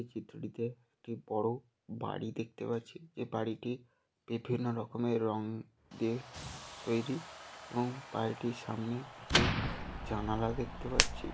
এই চিত্রটিতে একটি বড়ো বাড়ি দেখতে পাচ্ছি যে বাড়িটি বিভিন্ন রকমের রং দিয়ে তৈরি এবং বাড়িটির সামনে একটি জানালা দেখতে পাচ্ছি।